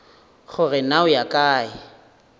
gore na o ya kae